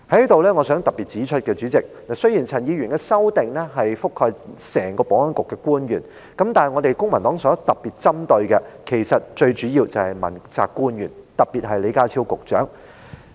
主席，我想在此特別指出，雖然陳議員的修正案覆蓋整個保安局的官員，但我們公民黨特別針對的，其實主要是問責官員，特別是李家超局長。